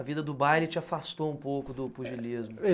A vida do baile te afastou um pouco do pugilismo.